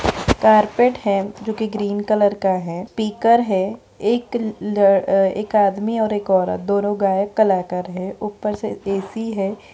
Carpet है जो कि ग्रीन कलर का है स्पीकर है एक ल एक आदमी और एक औरत दोनों गायक कलाकार है ऊपर से ए.सी. है।